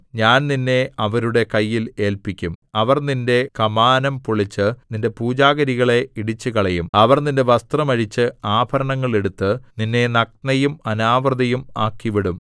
ഞാൻ നിന്നെ അവരുടെ കയ്യിൽ ഏല്പിക്കും അവർ നിന്റെ കമാനം പൊളിച്ച് നിന്റെ പൂജാഗിരികളെ ഇടിച്ചുകളയും അവർ നിന്റെ വസ്ത്രം അഴിച്ച് ആഭരണങ്ങൾ എടുത്ത് നിന്നെ നഗ്നയും അനാവൃതയും ആക്കിവിടും